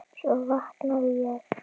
Svo vaknaði ég.